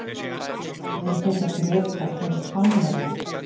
Eru þetta Bretar eða Spánverjar?